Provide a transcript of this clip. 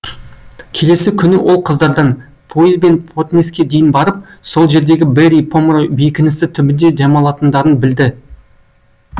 келесі күні ол қыздардан пойызбен потнеске дейін барып сол жердегі берри помрой бекінісі түбінде демалатындарын білді